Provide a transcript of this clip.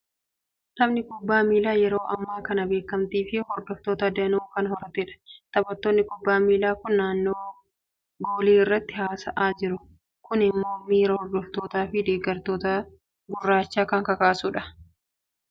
Taphni kubbaa miilaa yeroo ammaa kana beekamtii fi hordoftoota danuu kan horatedha. Taphattoonni kubbaa miilaa kun naannoo goolii irratti haasa'aa jiru. Kuni immoo miira hordoftootaa fi deeggartoota garichaa kan kakaasudha.